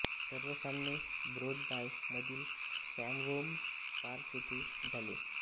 सर्व सामने ब्रोंडबाय मधील सॅवहोल्म पार्क येथे झाले